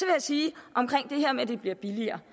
jeg sige omkring det her med at det bliver billigere